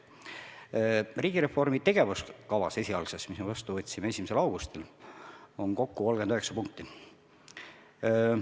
Esialgses riigireformi tegevuskavas, mille me võtsime vastu 1. augustil, on 39 punkti.